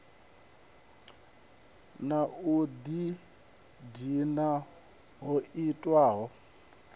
na u ḓidina ho itiwaho